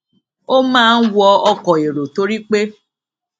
ó máa ń wọ ọkò èrò torí pé